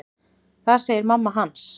Það segir mamma hans.